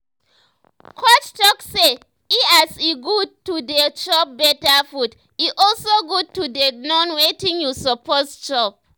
coach talk say e as e good to dey chop better food e also good to dey know wetin you suppose chop